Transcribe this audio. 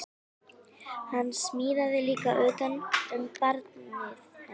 Hann smíðaði líka utan um barnið hennar